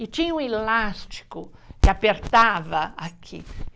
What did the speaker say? E tinha um elástico que apertava aqui.